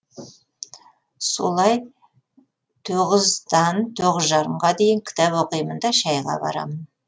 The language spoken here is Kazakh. солай тоғыздан тоғызжарымға дейін кітап оқимын да шәйға барамын